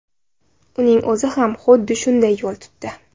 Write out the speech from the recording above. Uning o‘zi ham xuddi shunday yo‘l tutdi .